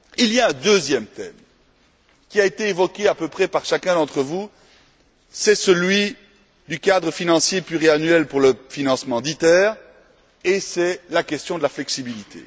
Le deuxième thème qui a été évoqué à peu près par chacun d'entre vous est celui du cadre financier pluriannuel pour le financement d'ITER, qui concerne la question de la flexibilité.